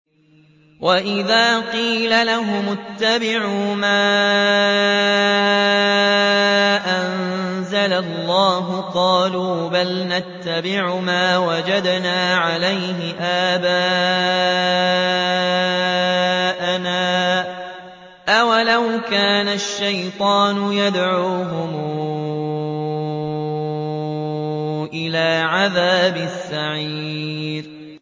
وَإِذَا قِيلَ لَهُمُ اتَّبِعُوا مَا أَنزَلَ اللَّهُ قَالُوا بَلْ نَتَّبِعُ مَا وَجَدْنَا عَلَيْهِ آبَاءَنَا ۚ أَوَلَوْ كَانَ الشَّيْطَانُ يَدْعُوهُمْ إِلَىٰ عَذَابِ السَّعِيرِ